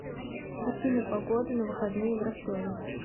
афина погода на выходные в ростове